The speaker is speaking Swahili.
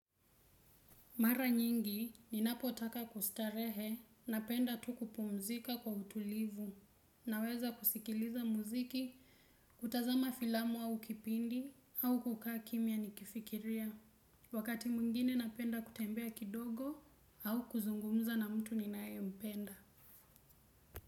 Mara nyingi ninapo taka kustarehe napenda tu kupumzika kwa utulivu naweza kusikiliza muziki kutazama filamu au kipindi au kukaa kimya ni kifikiria wakati mwingine napenda kutembea kidogo au kuzungumza na mtu ninae mpenda.